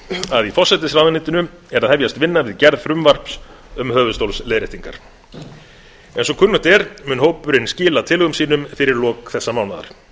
að í forsætisráðuneytinu er að hefjast vinna við gerð frumvarps um höfuðstólsleiðréttingar eins og kunnugt er mun hópurinn skila tillögum sínum fyrir lok þessa mánaðar